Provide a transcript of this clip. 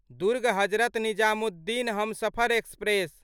Durg Hazrat Nizamuddin Humsafar express